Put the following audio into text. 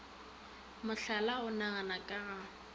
mohlala o nagana ka ga